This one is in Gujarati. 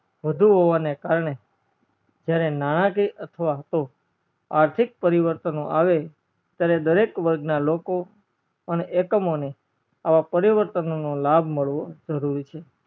વધુ હોવાના કરને જયારે નાણકીય અથવા તો આર્થીક પર્વીવાર્તાનો આવે ત્યારે દરેક વર્ગ ના લોકો અને એકમોને અવ પરીવાર્તોનો નો લાભ મળવો જરૂરી છે